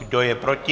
Kdo je proti?